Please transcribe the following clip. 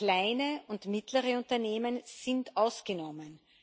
Kleine und mittlere Unternehmen sind ausgenommen.